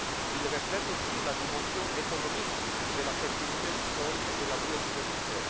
publics. Il reflète aussi la dimension économique de la fertilité du sol et de la biodiversité.